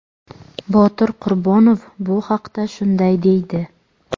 Botir Qurbonov bu haqda shunday deydi?.